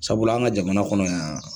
Sabula an ka jamana kɔnɔ yan